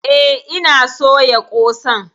Eh ina soya ƙosan.